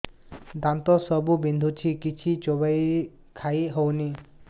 ଦାନ୍ତ ସବୁ ବିନ୍ଧୁଛି କିଛି ଚୋବେଇ ଖାଇ ହଉନି